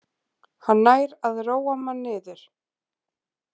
Hann nær að róa mann niður